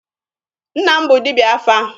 Nna m bụ dibịa afa.